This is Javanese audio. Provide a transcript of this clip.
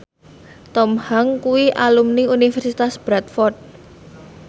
Tom Hanks kuwi alumni Universitas Bradford